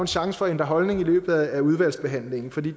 chance for at ændre holdning i løbet af udvalgsbehandlingen for det